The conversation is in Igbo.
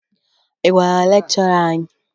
Ị gwara lekchọra anyị?